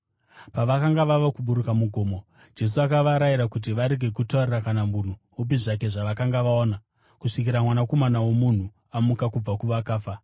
Pavakanga vava kuburuka mugomo, Jesu akavarayira kuti varege kutaurira kana munhu upi zvake zvavakanga vaona kusvikira Mwanakomana woMunhu amuka kubva kuvakafa.